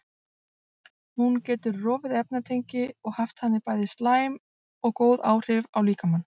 Hún getur rofið efnatengi og haft þannig bæði slæm og góð áhrif á líkamann.